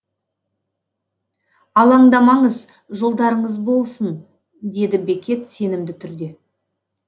алаңдамаңыз жолдарыңыз болсын деді бекет сенімді түрде